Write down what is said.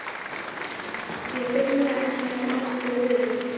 Ég er feimnari en ég hef oft viljað viðurkenna.